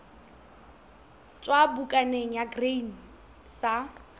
tswa bukaneng ya grain sa